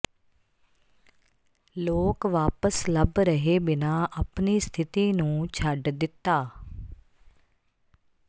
ਲੋਕ ਵਾਪਸ ਲੱਭ ਰਹੇ ਬਿਨਾ ਆਪਣੀ ਸਥਿਤੀ ਨੂੰ ਛੱਡ ਦਿੱਤਾ